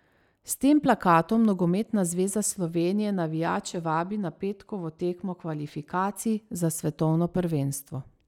S tem plakatom Nogometna zveza Slovenije navijače vabi na petkovo tekmo kvalifikacij za svetovno prvenstvo.